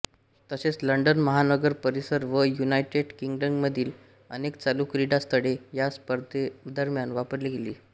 तसेच लंडन महानगर परिसर व युनायटेड किंग्डममधील अनेक चालू क्रीडा स्थळे ह्या स्पर्धेदरम्यान वापरली गेली